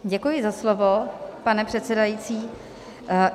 Děkuji za slovo, pane předsedající.